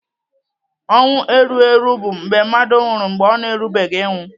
Ọnwụ erugheru bụ mgbe mmadụ nwụrụ mgbe ọ na-erubeghị ịnwụ.